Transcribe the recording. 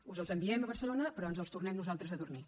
us els enviem a barcelona però ens els tornem nosaltres a dormir